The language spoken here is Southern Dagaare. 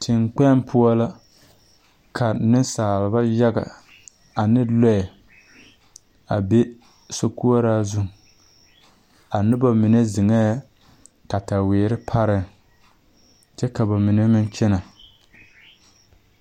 Teŋkpoŋ poɔ la ka nensaaleba yaga ane loɛ a be sokoɔraa za a noba mine zeŋɛɛ kataweeere parɛɛŋ kyɛ ka ba mine meŋ kyɛnɛ.